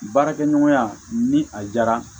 Baarakɛɲɔgɔnya ni a diyara